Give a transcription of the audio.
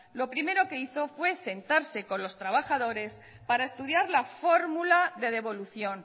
lo primero que hizo fue sentarse con los trabajadores para estudiar la fórmula de devolución